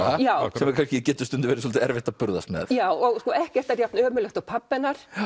sem getur stundum verið svolítið erfitt að burðast með já og sko ekkert er jafn ömurlegt og pabbi hennar